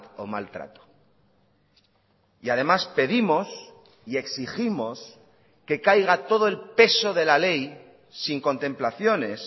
o mal trato y además pedimos y exigimos que caiga todo el peso de la ley sin contemplaciones